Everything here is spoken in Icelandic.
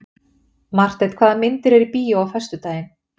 Marteinn, hvaða myndir eru í bíó á föstudaginn?